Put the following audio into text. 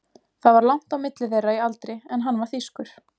Það var langt á milli þeirra í aldri en hann var þýskur.